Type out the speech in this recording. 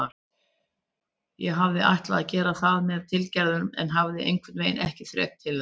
Ég hafði ætlað að gera það með tilgerð en hafði einhvernveginn ekki þrek til þess.